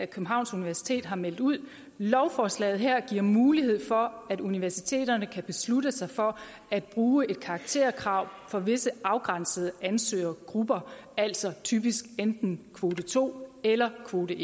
københavns universitet har meldt ud lovforslaget her giver mulighed for at universiteterne kan beslutte sig for at bruge et karakterkrav for visse afgrænsede ansøgergrupper altså typisk enten kvote to eller kvote